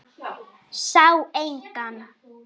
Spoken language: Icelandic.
Sá engan.